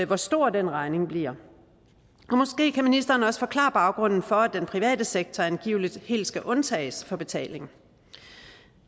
hvor stor den regning bliver og måske kan ministeren også forklare baggrunden for at den private sektor angiveligt helt skal undtages fra betaling